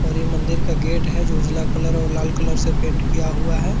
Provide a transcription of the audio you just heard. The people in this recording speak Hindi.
और ये मंदिर का गेट है जो उजला कलर और लाल कलर से पेंट किया हुआ है।